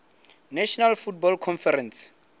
national football conference